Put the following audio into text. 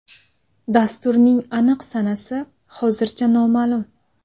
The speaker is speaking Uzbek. Dasturning aniq sanasi hozircha noma’lum.